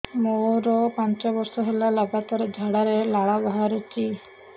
ମୋରୋ ପାଞ୍ଚ ବର୍ଷ ହେଲା ଲଗାତାର ଝାଡ଼ାରେ ଲାଳ ବାହାରୁଚି